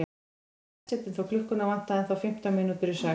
Kirkjan var þéttsetin þótt klukkuna vantaði ennþá fimmtán mínútur í sex.